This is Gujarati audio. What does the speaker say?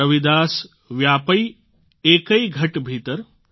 રવિદાસ વ્યાપૈ એકૈ ઘટ ભીતર